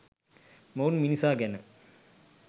මොවුන් මිනිසා ගැන